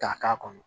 K'a k'a kɔnɔ